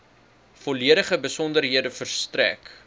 volledige besonderhede verstrek